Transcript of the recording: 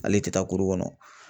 Hal'i tɛ taa kɔnɔ